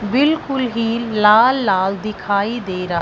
बिल्कुल ही लाल लाल दिखाई दे रहा--